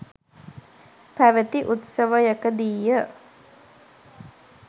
පැවති උත්සවයකදීය.